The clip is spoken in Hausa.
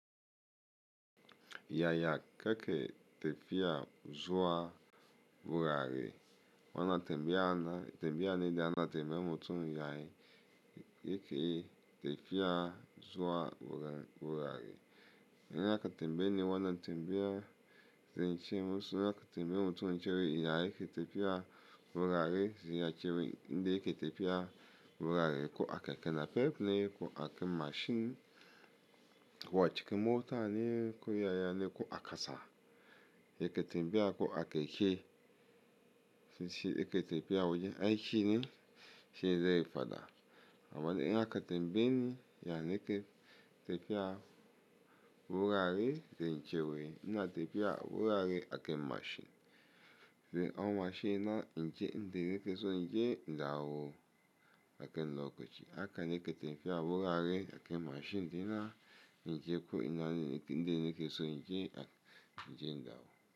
Yaya keke tefiya zuwa wurare wana tembiya na tembiya nide ana tembe mutum yayi yake tefiya zuwa wurare. In aka tembe ni wana tembiya zai ce musu ina ka tembe mutum cewa yayi yake tefiya wurare zai ce wai inda yake tefiya wurare ko a keke napep ne ko a keke mashin ko a cikin mota ne ko yaya ne ko a kasa yake tembiya ko a keke. Toshi yake tafiya wajen aiki ne shine zai fada amma dai ilna ka tembe ni ya yake tefiya wurare zai ce wai ina tefiya wurare a keke mashin. Zan au mashin na in je inda nike so in je in dawo ake lokaci haka nike tefiya wurare a keke mashin inda in je ko ina inda yake so in je inawo.